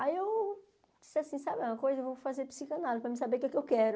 Aí eu disse assim, sabe, uma coisa, eu vou fazer psicanálise para mim saber o que é que eu quero.